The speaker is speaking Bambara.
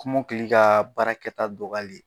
Kɔmɔkili ka baarakɛta dɔgɔyali